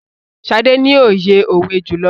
Sade ní oye òwe julọ.